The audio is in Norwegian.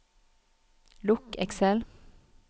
lukk Excel